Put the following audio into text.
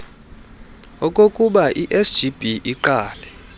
okokubai sgb iqale